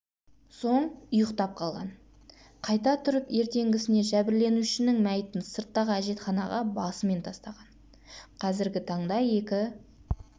соң ұйықтап қалған қайта тұрып ертеңгісіне жәбірленушінің мәйітін сырттағы әжетханаға басымен тастаған қазіргі таңда екі